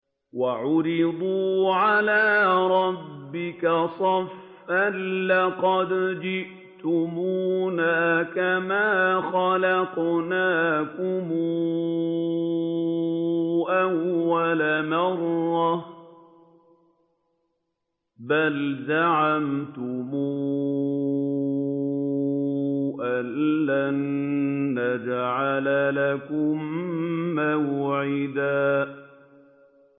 وَعُرِضُوا عَلَىٰ رَبِّكَ صَفًّا لَّقَدْ جِئْتُمُونَا كَمَا خَلَقْنَاكُمْ أَوَّلَ مَرَّةٍ ۚ بَلْ زَعَمْتُمْ أَلَّن نَّجْعَلَ لَكُم مَّوْعِدًا